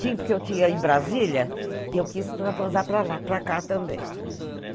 Tinha, porque eu tinha em Brasília, e eu quis para lá, para cá também.